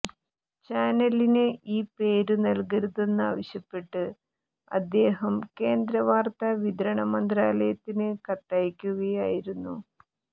ചാനലിന് ഈ പേരു നല്കരുതെന്നാവശ്യപ്പെട്ട് അദ്ദേഹം കേന്ദ്ര വാർത്താ വിതരണ മന്ത്രാലയത്തിന് കത്തയയ്ക്കുകയായിരുന്നു